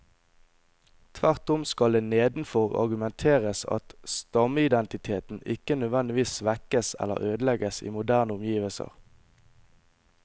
Tvert om skal det nedenfor argumenteres at stammeidentiteten ikke nødvendigvis svekkes eller ødelegges i moderne omgivelser.